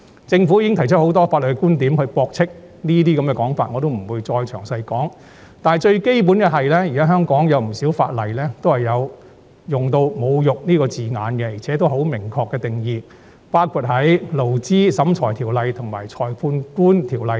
政府已提出很多法律觀點駁斥這類說法，我不再詳述，但最基本的是，現時香港有不少法例也有用上"侮辱"一詞，而且亦有明確定義，包括在《勞資審裁處條例》及《裁判官條例》等。